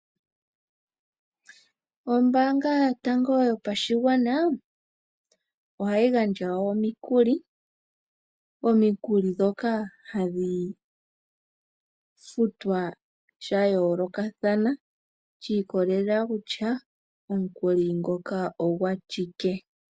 Ombaanga yotango yopashigwana ohayi gandja omikuli, omikuli ndhoka hadhi futwa sha yoolokathana shi ikolelela kutya omunkuli ngoka ogwa shike.